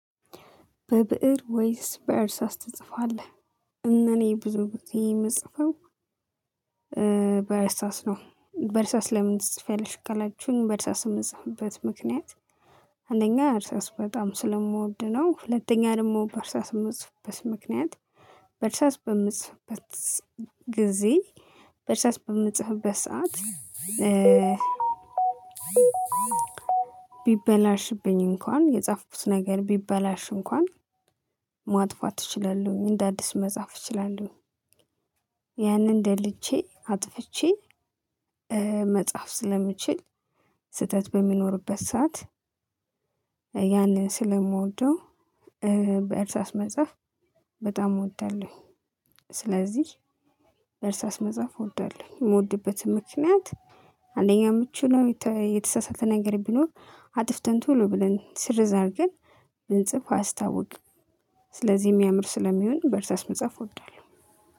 በብእር ወይስ በእርሳስ ትጽፋለህ? እኔ ብዙ ግዜ የምጽፈው በእርሳስ ነው። በእርሳስ ለምን ትጽፊያለሽ ካላችሁኝ በእርሳስ የምጽፍበት ምክንያት? አንደኛ እርሳስ በጣም ስለምወድ ነው። ሁለተኛ ደግሞ በእርሳስ በየምጽፍበት ምክንያት። በእርሳስ በምጽፍበት ጊዜ በእርሳስ በምጽፍበት ሰዓት። ቢበላሽብኝ እንኳን የጻፍኩት ነገር ቢበላሽ እንኳን ማጥፋት እችላለሁ እንደ አዲስ መጻፍ እችላለሁ። ያንን ደልቼ አጥፍቼ መጽሐፍ ስለምችል። ስህተት በሚኖርበት ሰዓት ያንን ስለምወደው። በእርሳስ መጻፍ በጣም እወዳለሁ። ስለዚህ በእርሳስ መጻፍ እወዳለሁ። የምወድበትም ምክንያት። አንደኛ የምችለው ነው። የተሳሳተ ነገር ቢኖር አጥፍተን ቶሎ ብለን ስርዝ አርገን ብንጽፍ አያስታውቅም። ስለዚህ የሚያምር ስለሚሆን በእርሳስ መጽሐፍ እወዳለሁ።